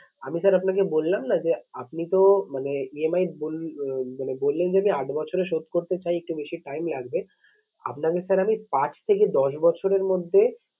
আমি sir আপনাকে বললাম না যে আপনি তো মানে EMI মানে বললেন যে আট বছরে শোধ করতে একটু বেশি time লাগবে। আপনাকে sir আমি পাঁচ থেকে দশ বছরের মধ্যে